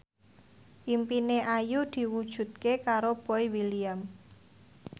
impine Ayu diwujudke karo Boy William